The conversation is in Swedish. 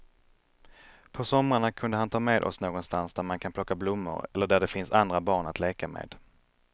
På somrarna kunde han ta med oss någonstans där man kan plocka blommor eller där det finns andra barn att leka med.